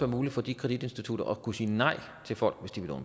muligt for de kreditinstitutter at kunne sige nej til folk